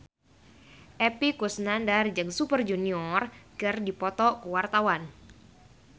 Epy Kusnandar jeung Super Junior keur dipoto ku wartawan